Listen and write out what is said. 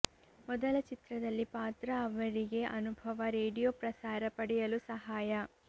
ಮೊದಲ ಚಿತ್ರದಲ್ಲಿ ಪಾತ್ರ ಅವರಿಗೆ ಅನುಭವ ರೇಡಿಯೋ ಪ್ರಸಾರ ಪಡೆಯಲು ಸಹಾಯ